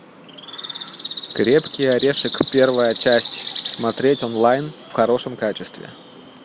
крепкий орешек первая часть смотреть онлайн в хорошем качестве